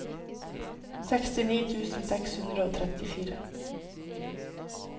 sekstini tusen seks hundre og trettifire